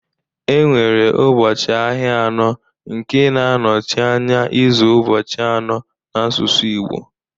Enwere ụbọchị ahịa anọ nke na-anọchi anya izu ụbọchị anọ n'asụsụ Igbo